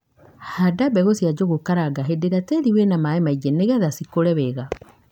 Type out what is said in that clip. Handa mbegu cia Njũgukaranga hīndī īrīa tīrī wina maī maingi nīgetha cikūre wega,